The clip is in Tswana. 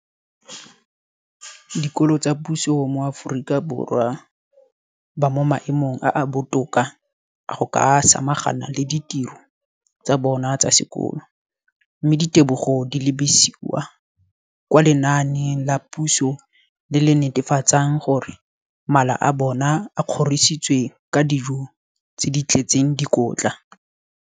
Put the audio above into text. Dikolo tsa puso mo Aforika Borwa ba mo maemong a a botoka a go ka samagana le ditiro tsa bona tsa sekolo, mme ditebogo di lebisiwa kwa lenaaneng la puso le le netefatsang gore mala a bona a kgorisitswe ka dijo tse di tletseng dikotla.